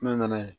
Ne nana yen